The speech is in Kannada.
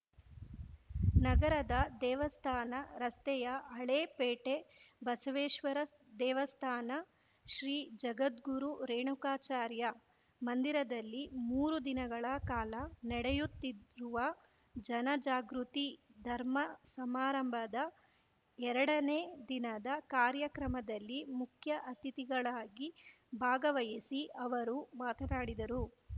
ನಗರದ ದೇವಸ್ಥಾನ ರಸ್ತೆಯ ಹಳೇ ಪೇಟೆ ಬಸವೇಶ್ವರ ದೇವಸ್ಥಾನ ಶ್ರೀ ಜಗದ್ಗುರು ರೇಣುಕಾಚಾರ್ಯ ಮಂದಿರದಲ್ಲಿ ಮೂರು ದಿನಗಳ ಕಾಲ ನಡೆಯುತ್ತಿರುವ ಜನಜಾಗೃತಿ ಧರ್ಮ ಸಮಾರಂಭದ ಎರಡನೇ ದಿನದ ಕಾರ್ಯಕ್ರಮದಲ್ಲಿ ಮುಖ್ಯ ಅತಿಥಿಗಳಾಗಿ ಭಾಗವಹಿಸಿ ಅವರು ಮಾತನಾಡಿದರು